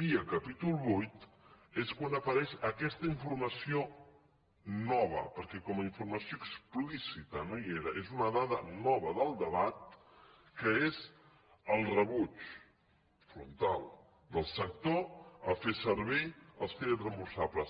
via capítol vuit és quan apareix aquesta informació nova perquè com a informació explícita no hi era és una da da nova del debat que és el rebuig frontal del sector a fer servir els crè dits reemborsables